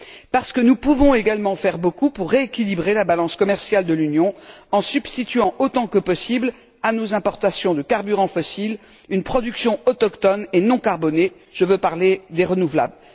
Parce que nous pouvons également faire beaucoup pour rééquilibrer la balance commerciale de l'Union en substituant, autant que possible, à nos importations de carburants fossiles une production autochtone et non carbonée je veux parler des énergies renouvelables.